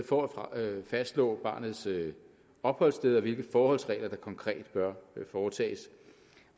for at fastslå barnets opholdssted og hvilke forholdsregler der konkret bør foretages